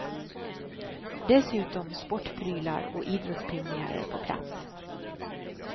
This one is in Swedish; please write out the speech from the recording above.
Dessutom sportprylar och idrottspionjärer på plats.